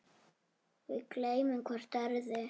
Við gleymum hvort öðru.